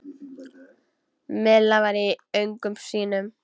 Milla var í öngum sínum.